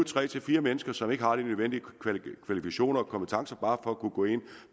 tre fire mennesker som ikke har de nødvendige kvalifikationer og kompetencer bare for at kunne gå ind